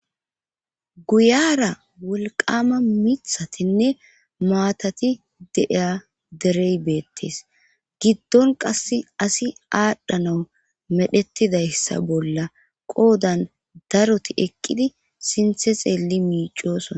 Guyaara wolqqaama mithatinne maatati de7iya derey beettees giddon qassi asi aadhanaw medhettidayssa bolla qoodan daroti eqqidi suthe xeelli miiccoosona.